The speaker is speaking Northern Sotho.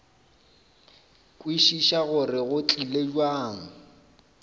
kwešiša gore go tlile bjang